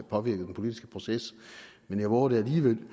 påvirket den politiske proces men jeg vover det alligevel